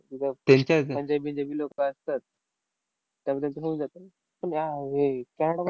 पंजाबी बिंजाबी लोकं असतात. त्यामुळे त्यांचं होऊन जातं ना. पण ह्या कॅनडा